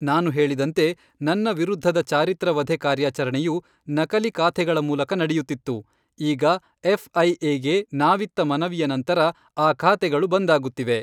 ನಾನು ಹೇಳಿದಂತೆ, ನನ್ನ ವಿರುದ್ಧದ ಚಾರಿತ್ರ ವಧೆ ಕಾರ್ಯಾಚರಣೆಯು ನಕಲಿ ಖಾತೆಗಳ ಮೂಲಕ ನಡೆಯುತ್ತಿತ್ತು, ಈಗ ಎಫ್.ಐ.ಎ.ಗೆ ನಾವಿತ್ತ ಮನವಿಯ ನಂತರ ಆ ಖಾತೆಗಳು ಬಂದಾಗುತ್ತಿವೆ.